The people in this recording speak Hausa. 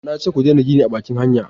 na ce ku dena gini a bakin hanya!